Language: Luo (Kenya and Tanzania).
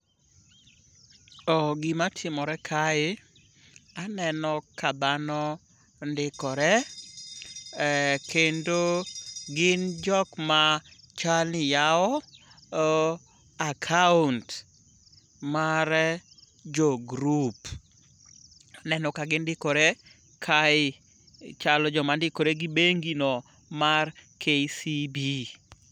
Oh gima timore kae, aneno ka dhano ndikore. Eh kendo gin jokma chalni yawo akaont mar jogrup. Aneno ka gindikore kae chalo jomandikore gi bengi no mar KCB